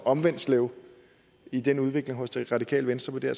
omvendt i den udvikling hos det radikale venstre